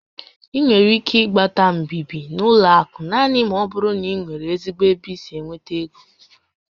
Ị nwere ike ịgbata mbibi n'ụlọ akụ naanị ma ọ bụrụ na ị nwere ezigbo ebe i si enweta égo